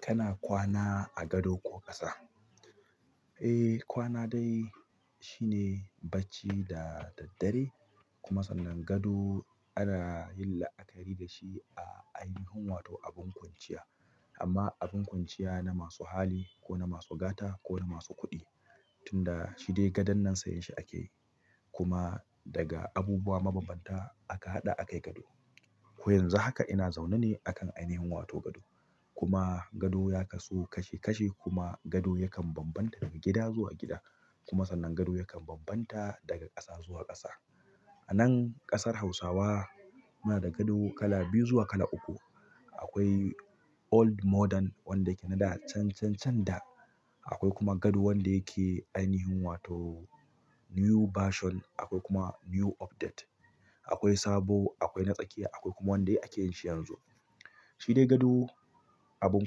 Kana kwana a gado ko ƙasa? Eh kwana dai shine bacci da daddare kuma sannan gado ana yin la'akari da shi a ainihin wato abin kwanciya. Amma abin kwanciya na masu hali ko na masu gata ko na masu kuɗi. Tunda shi dai gadon nan sayan shi ake. Kuma daga abubuwa mabanbanta aka haɗa a kai gado. Ko yanzu haka ina zaune ne akan ainihin wato gado. Kuma gado ya kasu kashi kashi kuma gado yakan bambanta daga gida zuwa gida kuma sannan gado yakan bambanta daga ƙasa zuwa ƙasa. Anan ƙasar Hausawa muna da gado kala biyu zuwa kala uku. Akwai old model wanda ke na da can, can, can da akwai kuma gado wanda yake ainihin wato new version akwai kuma new update. Akwai sabo, akwai na tsakiya akwai kuma wanda ake yin shi yanzu. Shi dai gado abin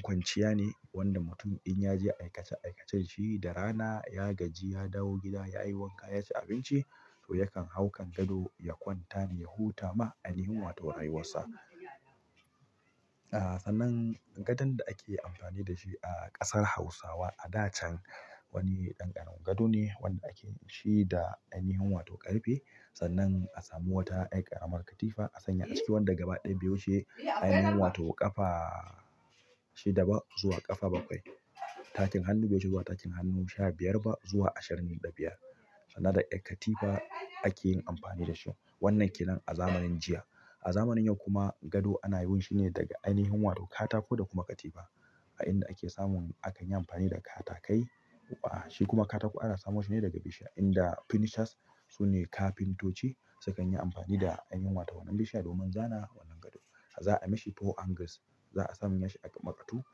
kwanciya ne wanda mutum in ya je aikace aikacen shi da rana ya gaji ya dawo gida ya yi wanka ya ci abinci to yakan hau kan gado ya kwanta ne ya huta ma ainihin wato rayuwarsa. A sannan gadon da ake amfani da shi a ƙasar Hausawa a da can wani ɗan ƙaramin gado ne wanda ake yin shi da ainihin wato ƙarfe. Sannan a samu wata ƴar ƙaramar katifa a sanya a ciki wadda gaba ɗaya bai wuce ainihin wato ƙafa shida ba zuwa ƙafa bakwai. Takin hannu be wuce zuwa takinn hannu sha biyar ba zuwa ashirin da biyar. Sannan da ƴar katifa ake yin amfani da shi. Wannan ke nan a zamanin jiya. A zamanin yau kuma gado ana yin shi ne daga ainihin wato katako da kuma katifa a inda ake samun akan yi amfani da katakai. Shi kuma katako ana samo shi ne daga bishiya inda finishers su ne kafintoci sukan yi amfani da ainihin wato wannan bishiya domin zana wannan gado. Za'a mishi four angles. Za'a sa mishi aƙamaƙatu.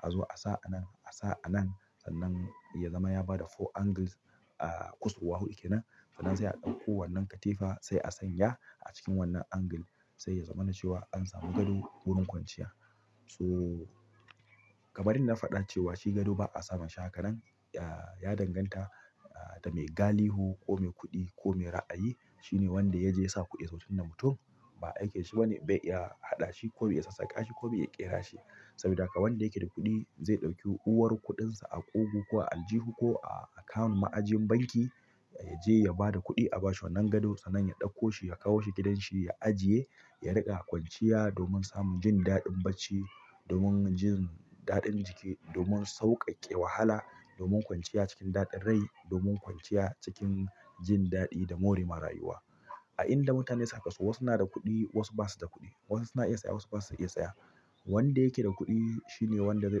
Azo a sa anan, a sa anan sannan ya zama ya bada four angles. A kusurwa huɗu ke nan. Sannan sai a ɗauko wannan katifa sai a sanya a cikin wannan angle sai ya zamana cewa an samu gado wurin kwanciya. So kamar yanda na faɗa cewa shi gado ba a samun shi a hakanan ya danganta da mai gali hu ko mai kuɗi ko mai ra'ayi. Shi ne wanda ya je ya sa kuɗi. Sauƙin nan mutum ba aikin shi ba ne bai iya haɗa shi ko bai iya sassaƙa shi ko bai iya ƙera shi. Saboda haka wanda yake da kuɗi zai ɗauki huhuwar kuɗinsa a ƙugu ko a aljihu ko a account ma'ajin banki ya je ya bada kuɗi a bashi wannan gadon sannan ya ɗauko shi ya kawo shi gidanshi ya ajiye ya riƙa kwanciya domin samun jin daɗin bacci, domin jin daɗin jiki, domin sauƙaƙe wahala, domin kwanciya cikin daɗin rai, domin kwanciya cikin jin daɗi da more ma rayuwa. A inda mutane suka su wasu na da kuɗi wasu ba su da kuɗi. Wasu na iya saya wasu ba su iya saya. Wanda yake da kuɗi shi ne wanda zai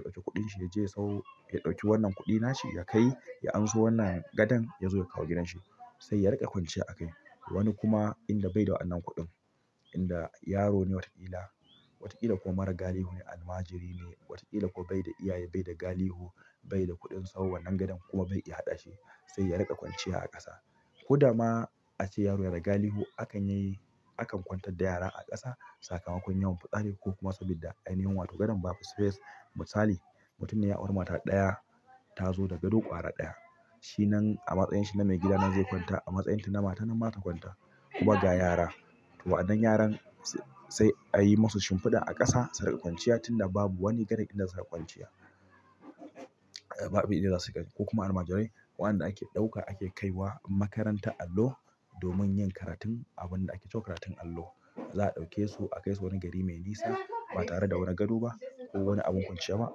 ɗauki kuɗin shi ya je ya sawo- ya ɗauki wannan kuɗi na shi ya kai ya anso wannan gadan ya zo ya kawo gidanshi sai ya riƙa kwanciya a kai. Wani kuma inda bai da wannan kuɗin, inda yaro ne watakila, watakila kuma mara gali hu ne, almajiri ne, watakila ko bai da iyaye bai da gali hu bai da kuɗin sau wannan gadan kuma bai iya haɗa shi sai ya riƙa kwanciya a ƙasa. Ko da ma ace yaro yana gali hu akan yayi, akan kwantar da yara a ƙasa sakamakon yawan fitsari ko kuma sabida ainihin wato gadon babu space. Misali mutum ya auri mata ɗaya ta zo da gado ƙara ɗaya. Shi nan a matsayin shi na maigida nan zai kwanta a matsayin ta na mata nan mata kwanta. Kuma ga yara to waɗannan yaran sai a yi masu shimfiɗa a ƙasa su riƙa kwanciya tunda babu wani gadon inda su riƙa kwanciya. Babu inda za su riƙa ko kuma almajirai waɗanda ake ɗauka ake kaiwa makarantar allo domin yin karatun abun da ake ce karatun allo. Za a ɗauke su a kai su wani gari mai nisa ba tare da wani gado ba ko wani abin kwanciya ba.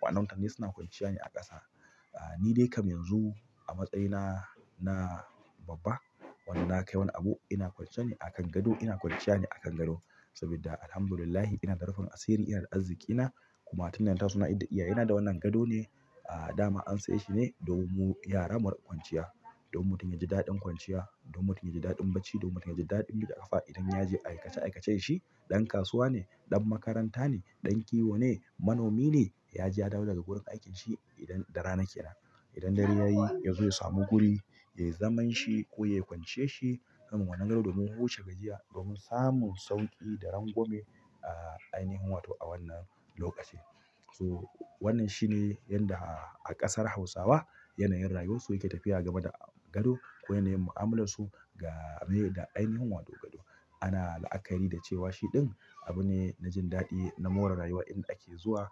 Waɗannan mutane suna kwanciya ne a ƙasa. Ni dai kamar yanzu a matsayina na babba wanda na kai wani abu ina kwancen ne a kan gado ina kwanciya ne a kan gado. Sabida alhamdulillahi ina da rufin asiri ina da arziƙi nakuma tunda na taso na idda iyaye na da wannan gado ne a dama an saye shi ne domin mu yara mu riqa kwanciya. Don mutum yaji daɗin kwanciya don mutum yaji daɗin bacci mike ƙafa idan yaje aikace aikacen shi dan kasuwa ne, ɗan makaranta ne, ɗan kiwo ne, manomi ne ya je ya dawo daga wurin aikinsa idan da rana ke nan. Idan dare yayi yazo ya samu guri yayi zamanshi ko yayi kwanciyarshi kan wannan gado domin huce gajiya don samun sauƙi da rangwame ainihin wato a wannan lokaci so wannan shi ne yanda a ƙasar Hausawa yanayin rayuwarsu yake tafiya game da gado ko yanayin mu'amalarsu ga rai da ainihin wato gado. Ana la'akari da cewa shi ɗin abu ne na jin daɗi na more rayuwa inda ake zuwa.